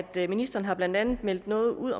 det ministeren har blandt andet meldt noget ud